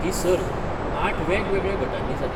ही सर्त आठ वेगवेगळ्या गटांनी जाली.